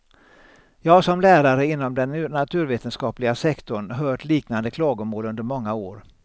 Jag har som lärare inom den naturvetenskapliga sektorn hört liknande klagomål under många år.